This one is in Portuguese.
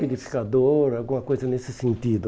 Liquidificador, alguma coisa nesse sentido.